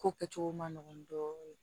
Ko kɛcogo ma nɔgɔn dɔɔnin